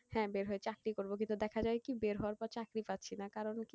হ্যাঁ বের হয়ে চাকরি করবো কিন্তু দেখা যায় কি বের হওয়ার পর চাকরি পাচ্ছি না কারণ কি,